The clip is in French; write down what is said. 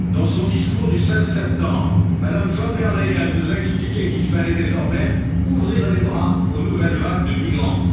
Dans son discours du 16 septembre, Mme von der Leyen nous a expliqué qu'il fallait désormais ouvrir les bras aux nouvelles vagues de migrants.